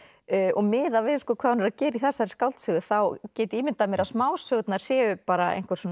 og miðað við hvað hún er að gera í þessari skáldsögu þá get ég ímyndað mér að smásögurnar séu bara